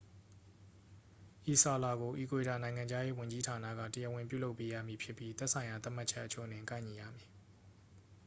ဤစာလွှာကို အီကွေဒေါ နိုင်ငံခြားရေး ဝန်ကြီးဌာနက တရားဝင်ပြုလုပ်ပေးရမည်ဖြစ်ပြီး သက်ဆိုင်ရာ သတ်မှတ်ချက်အချို့နှင့် ကိုက်ညီရမည်